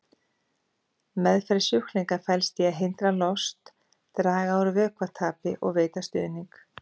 Meðferð sjúklinga felst í því að hindra lost, draga úr vökvatapi og veita stuðning.